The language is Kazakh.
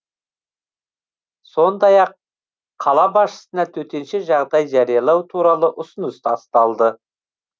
сондай ақ қала басшысына төтенша жағдай жариялау туралы ұсыныс тасталды